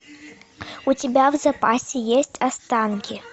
у тебя в запасе есть останки